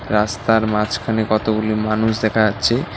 রাস্তার মাঝখানে কতগুলি মানুষ দেখা যাচ্ছে।